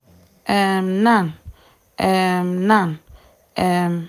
um nan um nan um